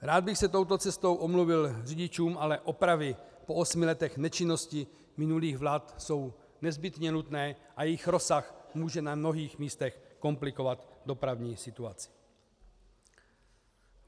Rád bych se touto cestou omluvil řidičům, ale opravy po osmi letech nečinnosti minulých vlád jsou nezbytně nutné a jejich rozsah může na mnoha místech komplikovat dopravní situaci.